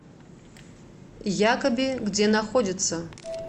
якоби где находится